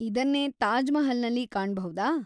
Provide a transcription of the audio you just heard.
ಇದನ್ನೇ ತಾಜ್‌ ಮಹಲ್‌ನಲ್ಲಿ ಕಾಣಬೌದಾ?